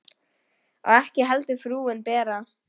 Og ekki heldur frúin Bera.